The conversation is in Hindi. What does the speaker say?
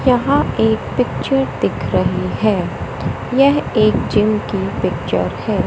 यहाँ एक पिक्चर दिख रही है यह एक जिम की पिक्चर है।